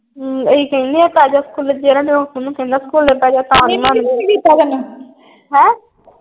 ਅਸੀਂ ਕਹਿੰਦੇ ਆ ਪੈ ਜਾ ਸਕੂਲੇ। ਜਿਹੜਾ ਤੈਨੂੰ ਹੈਂ।